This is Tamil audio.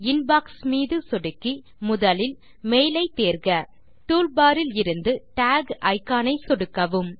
இன்பாக்ஸ் மீது சொடுக்கி முதலில் மெயில் ஐ தேர்க டூல்பார் இலிருந்து டாக் இக்கான் ஐ சொடுக்கவும்